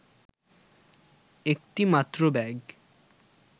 একটি মাত্র ব্যাগ